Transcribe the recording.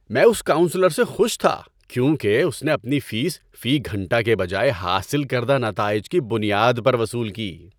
میں اس کاؤنسلر سے خوش تھا کیونکہ اس نے اپنی فیس فی گھنٹہ کے بجائے حاصل کردہ نتائج کی بنیاد پر وصول کی۔